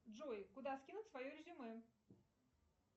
джой куда скинуть свое резюме